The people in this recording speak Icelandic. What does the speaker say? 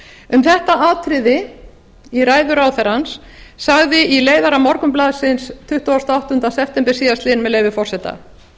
um þetta atriði í ræðu ráðherrans sagði í leiðara morgunblaðsins tuttugasta og áttunda september síðastliðinn með leyfi forseta